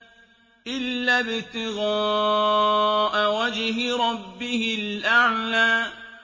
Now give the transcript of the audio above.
إِلَّا ابْتِغَاءَ وَجْهِ رَبِّهِ الْأَعْلَىٰ